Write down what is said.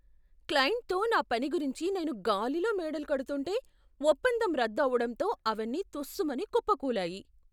క్లయింట్తో నా పని గురించి నేను గాలిలో మేడలు కడుతుంటే, ఒప్పందం రద్దు అవడంతో అవన్నీ తుస్స్ మని కుప్పకూలాయి.